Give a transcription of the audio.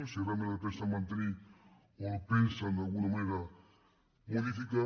si realment el pensen mantenir o el pensen d’alguna manera modificar